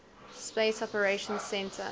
space operations centre